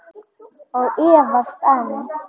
Og efast enn.